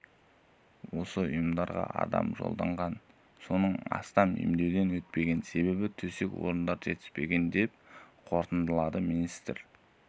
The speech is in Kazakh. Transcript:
осы ұйымдарға адам жолданған соның астамы емдеуден өтпеген себебі төсек орындары жетіспеген деп қорытындылады министр